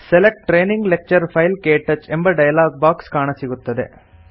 select training lecture file - ಕ್ಟಚ್ ಎಂಬ dialog box ಕಾಣಸಿಗುತ್ತದೆ